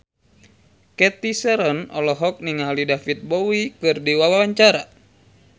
Cathy Sharon olohok ningali David Bowie keur diwawancara